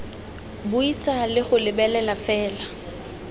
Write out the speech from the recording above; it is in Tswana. buisa le go lebelela fela